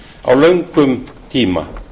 á löngum tíma